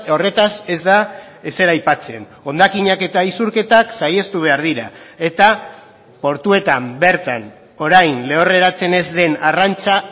horretaz ez da ezer aipatzen hondakinak eta isurketak saihestu behar dira eta portuetan bertan orain lehorreratzen ez den arrantza